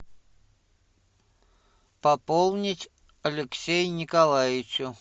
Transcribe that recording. пополнить алексей николаевичу